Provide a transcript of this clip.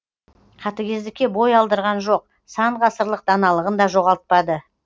қатыгездікке бой алдырған жоқ сан ғасырлық даналығын да жоғалтпады